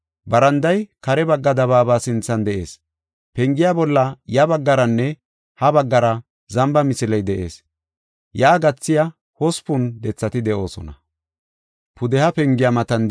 Baranday kare bagga dabaaba sinthan de7ees. Pengiya bolla ya baggaranne ha baggara zamba misiley de7ees. Yaa gathiya hospun dethati de7oosona.